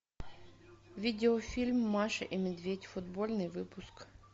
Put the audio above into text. видеофильм маша и медведь футбольный выпуск